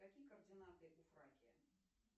какие координаты у фракия